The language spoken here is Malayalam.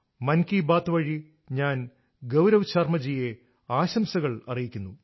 മൻ കി ബാത്ത് വഴി ഞാൻ ഗൌരവ് ശർമ ജിയെ ആശംസകൾ അറിയിക്കുന്നു